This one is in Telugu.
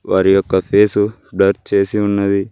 వారి యొక్క ఫేసు బ్లర్ చేసి ఉన్నది.